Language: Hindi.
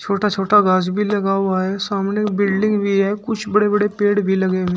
छोटा छोटा घास भी लगा हुआ है सामने एक बिल्डिंग भी है कुछ बड़े बड़े पेड़ भी लगे हुए--